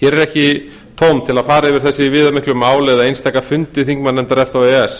hér er ekki tóm til að fara yfir þessi viðamiklu mál eða einstaka fundi þingmannanefnda efta og e e s